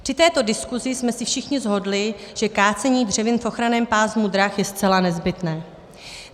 Při této diskusi jsme se všichni shodli, že kácení dřevin v ochranném pásmu drah je zcela nezbytné.